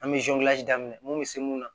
An bɛ daminɛ mun bɛ se mun na